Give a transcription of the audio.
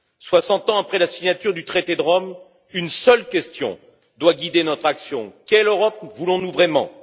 Soixante ans après la signature du traité de Rome, une seule question doit guider notre action quelle Europe voulons nous vraiment?